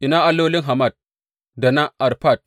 Ina allolin Hamat da na Arfad?